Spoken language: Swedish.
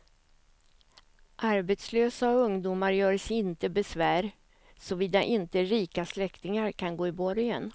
Arbetslösa och ungdomar göre sig inte besvär, såvida inte rika släktingar kan gå i borgen.